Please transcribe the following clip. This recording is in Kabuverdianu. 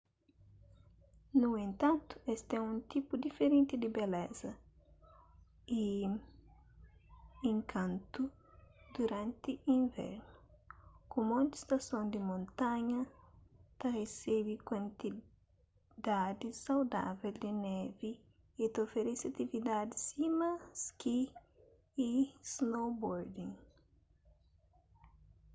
nu entantu es ten un tipu diferenti di beleza y inkantu duranti invernu ku monti stason di montanha ta resebe kuantidadis saudável di nevi y ta oferese atividadis sima ski y snowboarding